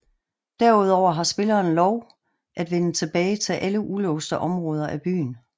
Derudover har spilleren lov at vende tilbage til alle ulåste områder af byen